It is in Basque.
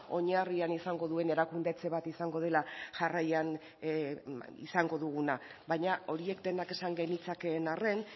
oinarrian izango duen erakunde etxe bat izango dela jarraian izango duguna baina horiek denak esan genitzakeen arren